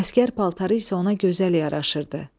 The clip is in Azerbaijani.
Əsgər paltarı isə ona gözəl yaraşırdı.